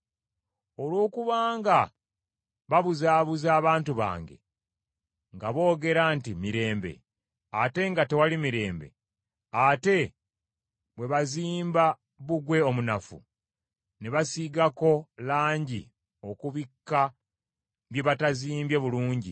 “ ‘Olw’okuba nga babuzaabuza abantu bange nga boogera nti, “Mirembe,” ate nga tewali mirembe, ate bwe bazimba bbugwe omunafu, ne basiigako langi okubikka bye batazimbye bulungi,